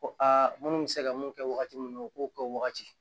Ko aa munnu bɛ se ka mun kɛ wagati min na u k'o kɛ o wagati